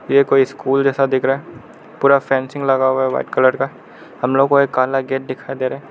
ये कोई स्कूल जैसा दिख रहा पूरा फेंसिंग लगा हुआ है व्हाइट कलर का हम लोग को एक काला गेट दिखाई दे रहा है।